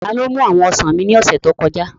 Taló mú àwọn ọsàn mi ní ọ̀sẹ̀ tó kọjá?